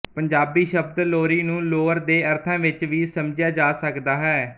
ਪੰਜਾਬੀ ਸ਼ਬਦ ਲੋਰੀ ਨੂੰ ਲੋਰ ਦੇ ਅਰਥਾਂ ਵਿੱਚ ਵੀ ਸਮਝਿਆ ਜਾ ਸਕਦਾ ਹੈ